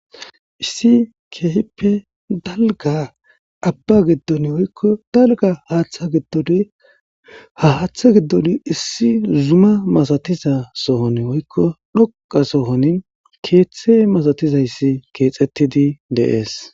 Issi keehippe dalga abba giddoni woykko dalga haaththa giddoni ha haaththa giddoni issi zuma masatiza sohon woykko dhoqa sohoni keeththe masatizayssi keexxettidi dees